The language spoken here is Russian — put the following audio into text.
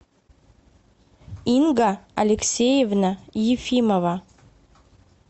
инга алексеевна ефимова